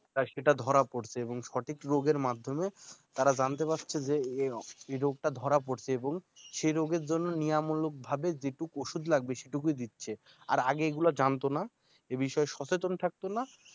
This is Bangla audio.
সেটা ধরা পড়ত এবং সঠিক রোগের মাধ্যমে তারা জানতে পারছে যে এ রোগটা ধরা পড়ছে এবং সেই রোগের জন্য নেয়ামূলকভাবে যে ওষুধ লাগবে সেটুকু দিচ্ছে। আর আগে এগুলা জানত না এ বিষয়ে সচেতন থাকত না